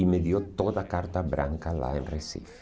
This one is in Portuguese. E me deu toda a carta branca lá em Recife.